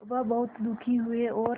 वह बहुत दुखी हुए और